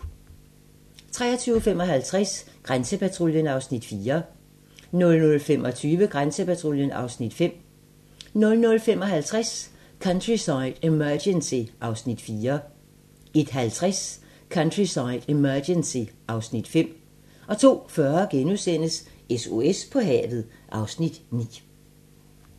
23:55: Grænsepatruljen (Afs. 4) 00:25: Grænsepatruljen (Afs. 5) 00:55: Countryside Emergency (Afs. 4) 01:50: Countryside Emergency (Afs. 5) 02:40: SOS på havet (Afs. 9)*